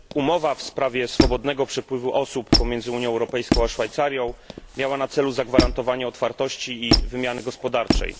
Umowa w sprawie swobodnego przepływu osób pomiędzy Unią Europejską a Szwajcarią miała na celu zagwarantowanie otwartości i wymiany gospodarczej.